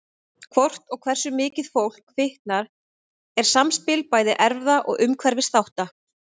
Hvort og hversu mikið fólk fitnar er samspil bæði erfða og umhverfisþátta.